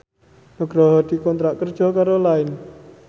Nugroho dikontrak kerja karo Line